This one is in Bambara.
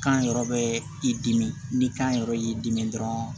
Kan yɛrɛ bɛ i dimi ni kan yɛrɛ y'i dimi dɔrɔn